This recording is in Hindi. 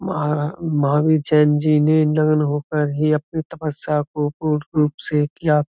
महा महावीर जैन जी ने इन नगनहो पर ही अपनी तपस्या को पूर्ण रूप से किया।